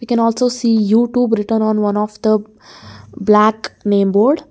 We can also see youtube return on one of the black name board.